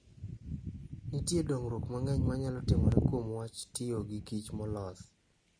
Nitie dongruok mang'eny manyalo timore kuom wach tiyo gikich molos.